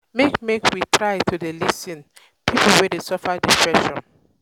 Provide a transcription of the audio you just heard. make make we try to dey lis ten to um pipo wey dey suffer depression.